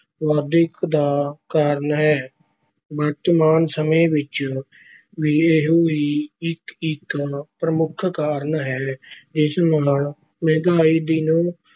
ਵਾਧੇ ਇੱਕ ਦਾ ਕਾਰਨ ਹੈ। ਵਰਤਮਾਨ ਸਮੇਂ ਵਿੱਚ ਵੀ ਇਹੋ ਹੀ ਇੱਕੋ-ਇੱਕ ਪ੍ਰਮੁੱਖ ਕਾਰਨ ਹੈ ਜਿਸ ਨਾਲ ਮਹਿੰਗਾਈ ਦਿਨ